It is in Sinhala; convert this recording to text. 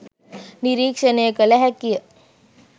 නිරීක්‍ෂණය කළ හැකිය.